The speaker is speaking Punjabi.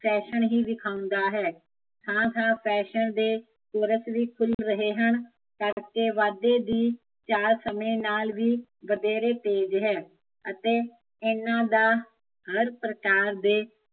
ਫੈਸ਼ਨ ਹੀਂ ਵਿਖਾਉਂਦਾ ਹੈ ਹਾਂ ਹਾਂ ਫੈਸ਼ਨ ਦੇ ਵੀ ਖੁੱਲ ਰਹੇ ਹਨ, ਅਤੇ ਵਾਧੇ ਦੀ ਚਾਲ ਸਮੇ ਨਾਲ਼ ਵੀ ਵਧੇਰੇ ਤੇਜ਼ ਹੈ ਅਤੇ ਇਹਨਾਂ ਦਾ, ਹਰ ਪ੍ਰਕਾਰ ਦੇ